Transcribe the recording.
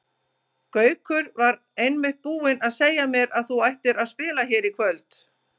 Gaukur var einmitt búinn að segja mér að þú ættir að spila hér í kvöld.